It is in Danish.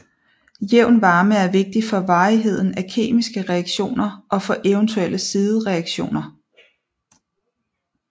Jævn varme er vigtig for varigheden af kemiske reaktioner og for eventuelle sidereaktioner